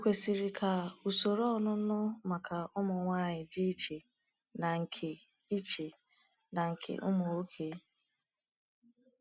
Ọkwesịrị ka usoro onunu maka ụmụ nwanyị dị iche na nke iche na nke ụmụ nwoke?